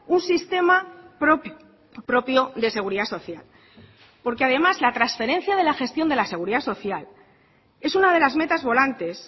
un sistema propio de seguridad social porque además la transferencia de la gestión de la seguridad social es una de las metas volantes